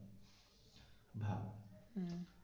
হম